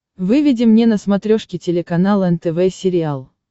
выведи мне на смотрешке телеканал нтв сериал